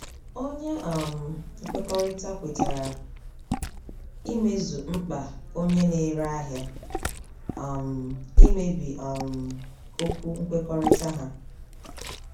Onye um nkwekọrịta kwetara imezu mkpa onye na-ere ahịa; um imebi um okwu nkwekọrịta ha.